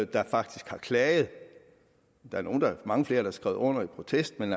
der faktisk har klaget der er mange flere der har skrevet under i protest men